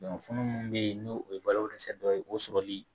funun mun be yen n'o ye dɔ ye o sɔrɔli